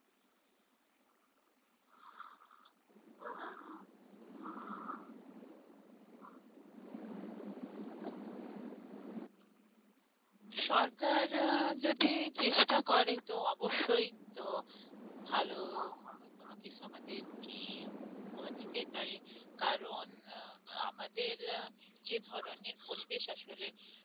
সরকার আহ যদি চেষ্টা করে তো অবশ্যই তো ভাল কোন কিছু আমাদেরকে উপহার দিতেই পারে কারণ আমাদের আহ যে ধরনের পরিবেশ আসলে